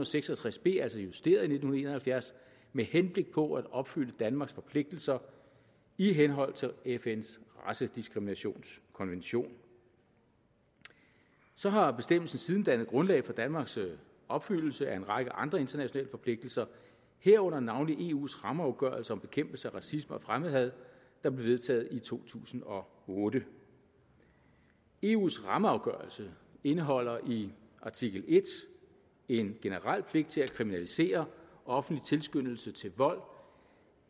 og seks og tres b altså justeret i nitten en og halvfjerds med henblik på at opfylde danmarks forpligtelser i henhold til fns racediskriminationskonvention så har bestemmelsen siden dannet grundlag for danmarks opfyldelse af en række andre internationale forpligtelser herunder navnlig eus rammeafgørelse om bekæmpelse af racisme og fremmedhad der blev vedtaget i to tusind og otte eus rammeafgørelse indeholder i artikel en en generel pligt til at kriminalisere offentlig tilskyndelse til vold